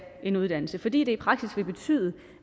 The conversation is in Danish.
en uddannelse fordi det i praksis vil betyde